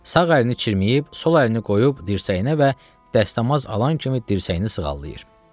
Sağ əlini çirməyib, sol əlini qoyub dirsəyinə və dəstəmaz alan kimi dirsəyini sığallayır.